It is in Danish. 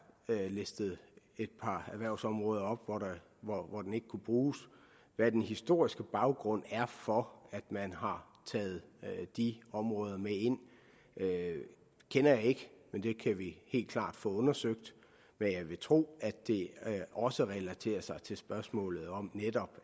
listet et par erhvervsområder op hvor den ikke kan bruges hvad den historiske baggrund er for at man har taget de områder med ind kender jeg ikke men det kan vi helt klart få undersøgt jeg vil tro at det også relaterer sig til spørgsmålet om